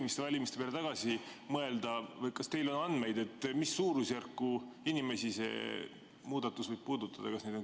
Kui valimiste peale tagasi mõelda, kas teil on andmeid, mis on suurusjärk, kui paljusid inimesi see muudatus võib puudutada?